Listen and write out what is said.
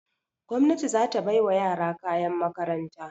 Gwamnati za ta bai wa yara kayan makaranta.